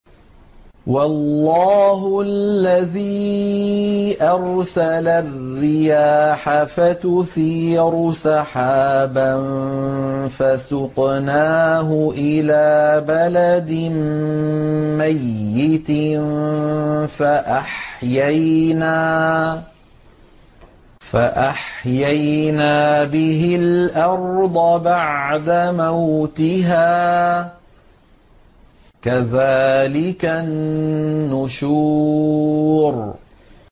وَاللَّهُ الَّذِي أَرْسَلَ الرِّيَاحَ فَتُثِيرُ سَحَابًا فَسُقْنَاهُ إِلَىٰ بَلَدٍ مَّيِّتٍ فَأَحْيَيْنَا بِهِ الْأَرْضَ بَعْدَ مَوْتِهَا ۚ كَذَٰلِكَ النُّشُورُ